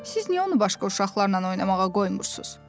Siz niyə onu başqa uşaqlarla oynamağa qoymursunuz?